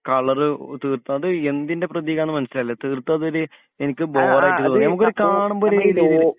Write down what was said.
colour തീർത്തും അത് എന്തിൻ്റെ പ്രതീകം ആണെന്ന് മനസിലായില്ല തീർത്തും അതൊരു എനിക്ക് ബോർ ആയിട്ട് തോന്നി നമുക്കൊരു കാണുംമ്പോ ഒരു